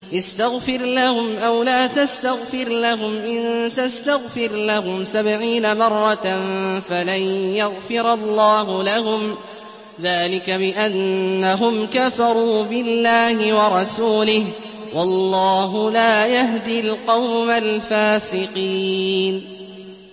اسْتَغْفِرْ لَهُمْ أَوْ لَا تَسْتَغْفِرْ لَهُمْ إِن تَسْتَغْفِرْ لَهُمْ سَبْعِينَ مَرَّةً فَلَن يَغْفِرَ اللَّهُ لَهُمْ ۚ ذَٰلِكَ بِأَنَّهُمْ كَفَرُوا بِاللَّهِ وَرَسُولِهِ ۗ وَاللَّهُ لَا يَهْدِي الْقَوْمَ الْفَاسِقِينَ